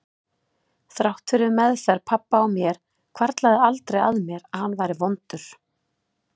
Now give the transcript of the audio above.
Þrátt fyrir meðferð pabba á mér hvarflaði aldrei að mér að hann væri vondur.